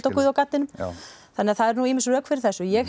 guð og gaddinn þannig að það eru nú ýmis rök fyrir þessu ég